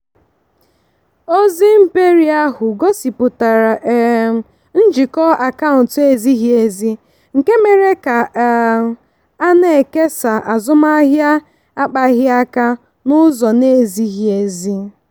ozi mperi ahụ gosipụtara um njikọ akaụntụ ezighi ezi nke mere ka a um na-ekesa azụmahịa akpaghịaka n'ụzọ na-ezighi ezi.